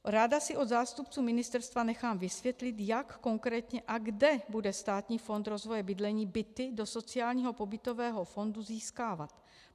Ráda si od zástupců ministerstva nechám vysvětlit, jak konkrétně a kde bude Státní fond rozvoje bydlení byty do sociálního pobytového fondu získávat.